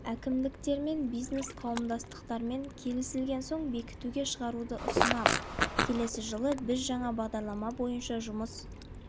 әкімдіктермен бизнес қауымдастықтармен келісілген соң бекітуге шығаруды ұсынамын келесі жылы біз жаңа бағдарлама бойынша жұмыс